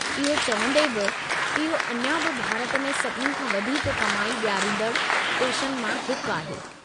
इहो चवंदे बि, इहो अञां बि भारत में सभिनी खां वधीक कमाई ॾियारींदड़ु पेशनि मां हिकु आहे।